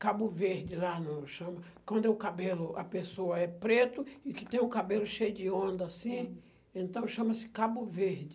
Cabo verde lá no chão... Quando o cabelo, a pessoa é preto e que tem o cabelo cheio de onda, assim, então chama-se cabo verde.